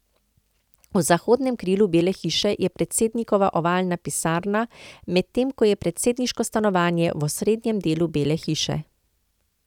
V zahodnem krilu Bele hiše je predsednikova ovalna pisarna, medtem ko je predsedniško stanovanje v osrednjem delu Bele hiše.